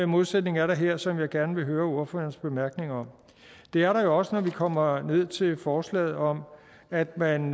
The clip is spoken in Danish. modsætning er der her som jeg gerne vil høre ordførerens bemærkninger om det er der jo også når vi kommer ned til forslaget om at man